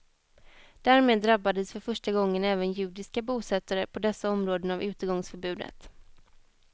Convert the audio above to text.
Därmed drabbades för första gången även judiska bosättare på dessa områden av utegångsförbudet.